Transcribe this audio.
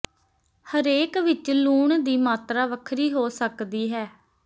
ਹਰੇਕ ਵਿਚ ਲੂਣ ਦੀ ਮਾਤਰਾ ਵੱਖਰੀ ਹੋ ਸਕਦੀ ਹੈ